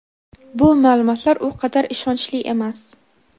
bu ma’lumotlar u qadar ishonchli emas.